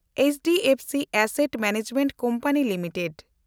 HDFC asset management company limited